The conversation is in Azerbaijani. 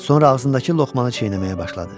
Sonra ağzındakı lokmanı çiynəməyə başladı.